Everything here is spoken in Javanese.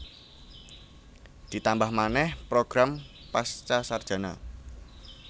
Ditambah manèh program Pascasarjana